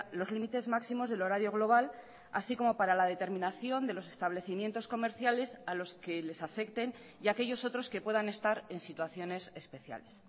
los límites máximos del horario global así como para la determinación de los establecimientos comerciales a los que les afecten y aquellos otros que puedan estar en situaciones especiales